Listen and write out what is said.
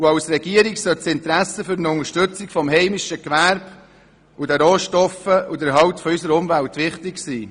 Der Regierung sollte die Unterstützung des heimischen Gewerbes, die Nutzung der vorhandenen Rohstoffe und der Erhalt der Umwelt wichtig sein.